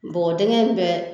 Bɔgɔdingɛn bɛɛ